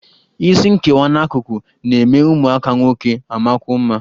Isi nkewa n'akụkụ na-eme ụmụaka nwoke amakwuo mma